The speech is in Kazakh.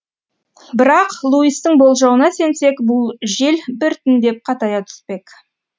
бірақ луистің болжауына сенсек бұл жел біртіндеп қатая түспек